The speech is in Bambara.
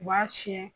U b'a fiyɛ